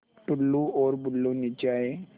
टुल्लु और बुल्लु नीचे आए